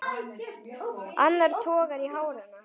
Annar togar í hár hennar.